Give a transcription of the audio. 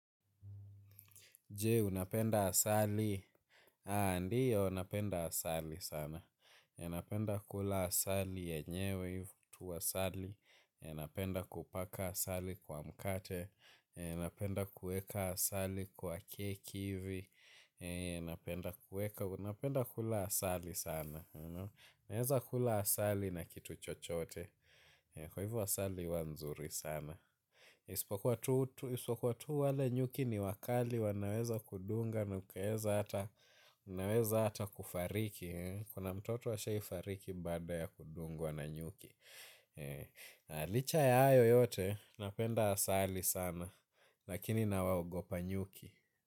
Je, unapenda asali? Ndiyo, napenda asali sana. Napenda kula asali yenyewe, tu asali. Unapenda kupaka asali kwa mkate. Napenda kueka asali kwa kieki hivi, napenda kula asali sana. Naweza kula asali na kitu chochote. Kwa hivo asali huwa nzuri sana. Isipokuwa tu wale nyuki ni wakali wanaweza kudunga na ukaweza kufariki, kuna mtoto ashai fariki baada ya kudungwa na nyuki. Na licha ya hayo yote, napenda asali sana. Lakini nawaogopa nyuki.